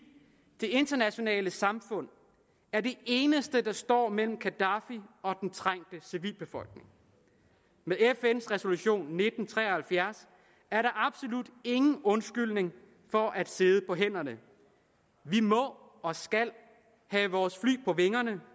det internationale samfund er det eneste der står mellem gaddafi og den trængte civilbefolkning med fns resolution nitten tre og halvfjerds er der absolut ingen undskyldning for at sidde på hænderne vi må og skal have vores fly på vingerne